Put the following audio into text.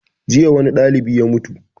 Jiya wani ɗalibi ya mutu